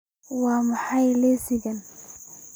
waa maxay liiskan